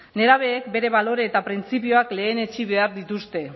nerabeek bere balore eta printzipioak lehenetsi behar dituzte